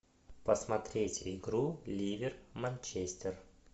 посмотреть игру ливер манчестер